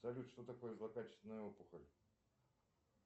салют что такое злокачественная опухоль